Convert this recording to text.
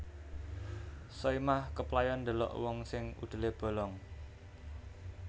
Soimah keplayon ndelok wong sing udele bolong